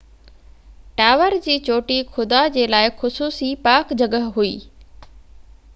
tower جي چوٽي خدا جي لاءِ خصوصي پاڪ جڳهہ هئي